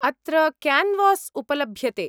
अत्र क्यान्वास् उपलभ्यते।